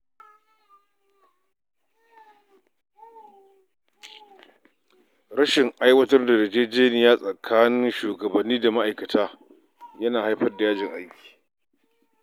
Rashin aiwatar da yarjejeniya tsakanin shugabanni da ma’aikata yana haifar da yajin aiki.